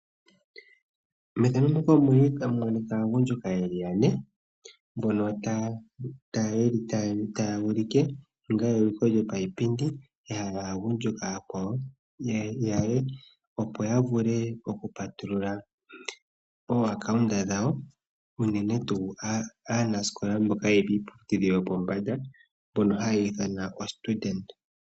Aagundjuka taya ulike eukilo lyopaipindi ya hala aagundjuka oyakwawo yaye, opo ya vule okupatulula omapungulilo goombanga unene tuu mboka yeli kiiputudhilo yopombanda.